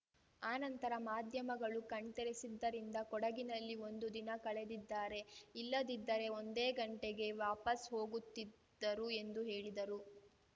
ಆ ನಂತರ ಮಾಧ್ಯಮಗಳು ಕಣ್ತೆರೆಸಿದ್ದರಿಂದ ಕೊಡಗಿನಲ್ಲಿ ಒಂದು ದಿನ ಕಳೆದಿದ್ದಾರೆ ಇಲ್ಲದಿದ್ದರೆ ಒಂದೇ ಗಂಟೆಗೆ ವಾಪಸ್‌ ಹೋಗುತ್ತಿದ್ದರು ಎಂದು ಹೇಳಿದರು